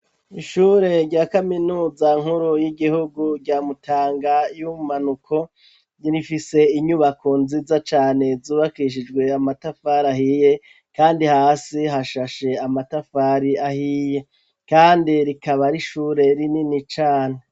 Ishure rya kaminuza nkuru y'igihugu rya Mutanga y'ubumanuko ,rifise inyubako nziza cane, zubakishijwe amatafari ahiye, kandi hasi hashashe amatafari ahiye. kandi rikaba ari ishure rinini cane.